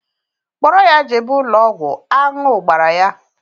Kpọrọ ya jebe ụlọ ọgwụ, aṅụ gbara ya!